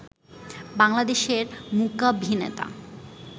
বাংলাদেশের মূকাভিনেতা